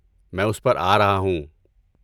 میں اس پر آ رہا ہوں۔